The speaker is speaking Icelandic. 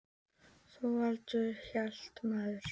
Þorvaldur hét maður.